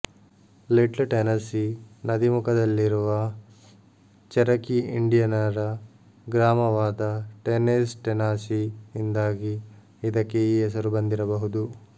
little Tennessee ನದೀಮುಖದಲ್ಲಿರುವ Cherokee ಇಂಡಿಯನರ ಗ್ರಾಮವಾದ ಟೆನೇಸ್ ಟೆನಾಸೀ ಇಂದಾಗಿ ಇದಕ್ಕೆ ಈ ಹೆಸರು ಬಂದಿರಬಹುದು